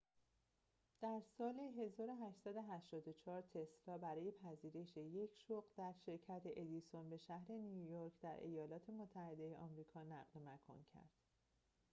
در سال ۱۸۸۴ تسلا برای پذیرش یک شغل در شرکت ادیسون به شهر نیویورک در ایالات متحده آمریکا نقل مکان کرد